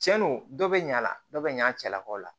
Cɛn do dɔ bɛ ɲina dɔ bɛ ɲan a cɛlakaw la